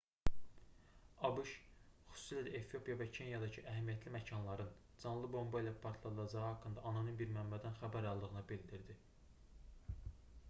abş xüsusilə də efiopiya və kenyadakı əhəmiyyətli məkanların canlı bomba ilə partladılacağı haqqında anonim bir mənbədən xəbər aldığını bildirdi